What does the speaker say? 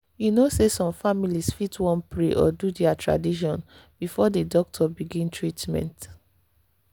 you know say some families fit wan pray or do their tradition before the doctor begin treatment.